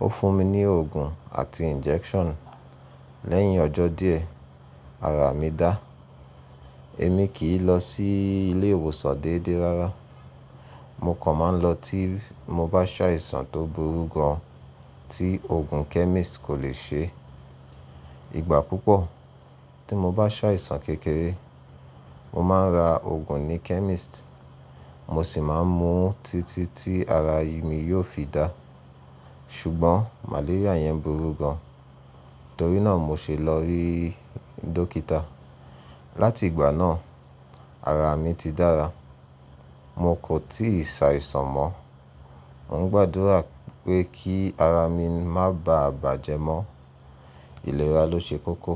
Ó fún mi ní òògùn àti injection. Lẹ́yìn ọjọ́ díẹ̀ ara mi dá. Èmi kì í lọ sí ilé ìwòsàn déédéé rárá. Mo kàn máa ń lọ tí mo bá ṣàìsàn tó burú gan tí òògùn chemist kò le ṣe. Ìgbà púpọ̀ tí mo bá ṣàìsàn kékeré, mo máa ń ra òògùn ní chemist, mo sì máa ń mu títí tí ara mi yóò fi dá. Ṣùgbọ́n malaria yẹn burú gan, torí náà mo ṣe lọ rí dọ́kítà. Láti ìgbà náà, ara mi ti dára. Mo kò tíì ṣàìsàn mọ́. Mo ń gbàdúrà pé kí ara mi má ba à bàjẹ́ mọ́. Ìlera ló ṣe kókó.